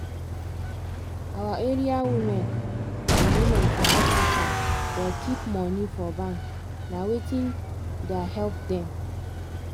our area women and women for africa da keep money for bank na wetin da help dem